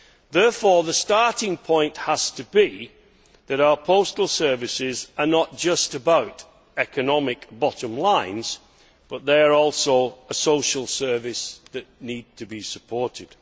Therefore, the starting point has to be that our postal services are not just about economic bottom lines, but they are also a social service that needs to be supported.